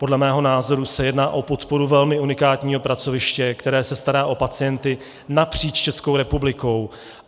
Podle mého názoru se jedná o podporu velmi unikátního pracoviště, které se stará o pacienty napříč Českou republikou.